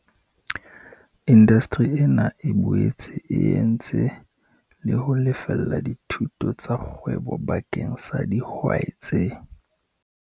Indasteri ena e boetse e entse le ho lefella dithuto tsa kgwebo bakeng sa dihwai tse